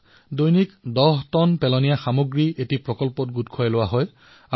প্ৰতিদিনে তাত ১০ টন আৱৰ্জনাৰ সৃষ্টি হয় আৰু এটা স্থানত একত্ৰিত কৰা হয়